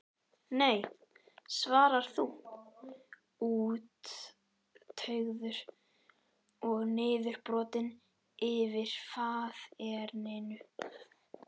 Nei svarar þú, úttaugaður og niðurbrotinn yfir faðerninu.